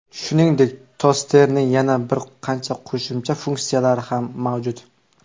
Shuningdek, tosterning yana bir qancha qo‘shimcha funksiyalari ham mavjud.